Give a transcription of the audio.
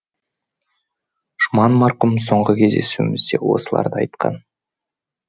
жұман марқұм соңғы кездесуімізде осыларды айтқан